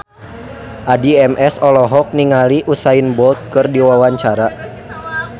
Addie MS olohok ningali Usain Bolt keur diwawancara